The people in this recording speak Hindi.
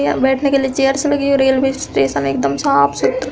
यहाँ बैठने के लिए चेयर्स लगी हु रेलवे स्टेशन एकदम साफ़ सूत्र --